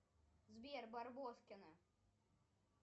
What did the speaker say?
сбер барбоскины